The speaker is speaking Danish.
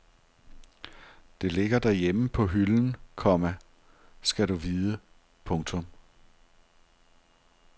Det ligger derhjemme på hylden, komma skal du vide. punktum